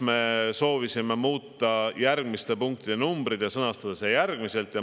Me soovisime muuta teatud punktide numbreid ja sõnastada need teisiti.